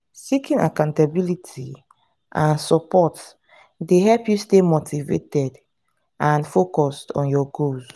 seeking accountability and support dey help you stay motivated and focused on your goals.